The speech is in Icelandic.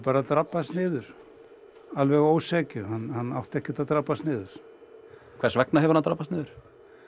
drabbast niður alveg að ósekju hann átti ekkert að drabbast niður hvers vegna hefur hann drabbast niður